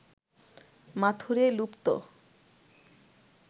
মাথুরে লুপ্ত